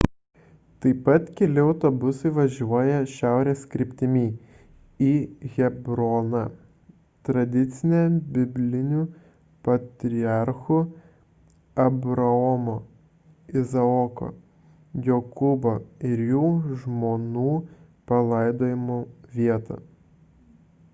taip pat keli autobusai važiuoja šiaurės kryptimi į hebroną tradicinę biblinių patriarchų abraomo izaoko jokūbo ir jų žmonų palaidojimo vietą